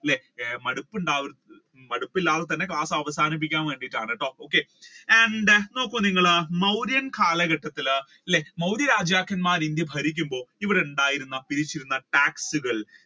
അല്ലെ മടുപ്പുണ്ടാവും മടുപ്പില്ലാതെ തന്നെ ക്ലാസ് അവസാനിപ്പിക്കാൻ വേണ്ടിയിട്ടാണട്ടോ okay and then നോക്കൂ നിങ്ങൾ മൗര്യൻ കാലഘട്ടത്തിൽ അല്ലെ മൗര്യ രാജാക്കന്മാർ ഇന്ത്യ ഭരിക്കുമ്പോൾ ഇവിടെ ഉണ്ടായിരുന്ന പിരിച്ചിരുന്ന tax കൾ